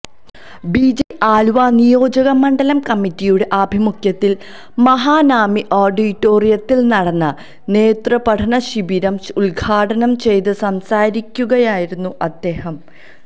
BJP Aluva നിയോജകമണ്ഡലം കമ്മറ്റിയുടെ ആഭിമുഖ്യത്തില് മഹാനാമി ആഡിറ്റോറിയത്തില് നടന്ന നേതൃപഠനശിബിരം ഉദ്ഘാടനം ചെയ്ത് സംസാരിക്കുകയായിരുന്നു അദ്ദേഹം